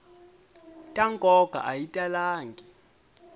ta nkoka a yi talangi